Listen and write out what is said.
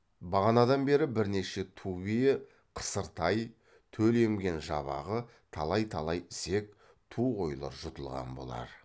бағанадан бері бірнеше ту бие қысыр тай төл емген жабағы талай талай ісек ту қойлар жұтылған болар